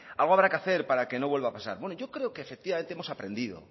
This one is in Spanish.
algo habrá que hacer para que no vuelva a pasar bueno yo creo que efectivamente hemos aprendido